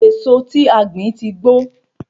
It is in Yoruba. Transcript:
Èso tí a gbìn tí gbó